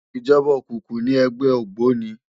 Ijòba ókúkú ni ègbè ógbóni